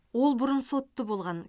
ол бұрын сотты болған